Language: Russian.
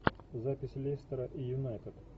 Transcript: запись лестера и юнайтед